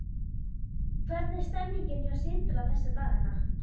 Hvernig er stemmningin hjá Sindra þessa dagana?